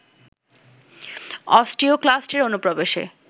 অস্টিওক্লাস্টের অনুপ্রবেশে